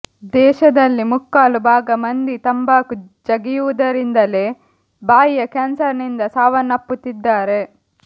ದೇಶದಲ್ಲಿ ಮುಕ್ಕಾಲು ಭಾಗ ಮಂದಿ ತಂಬಾಕು ಜಗಿಯುವುದರಿಂದಲೇ ಬಾಯಿಯ ಕ್ಯಾನ್ಸರ್ನಿಂದ ಸಾವನ್ನಪ್ಪುತ್ತಿದ್ದಾರೆ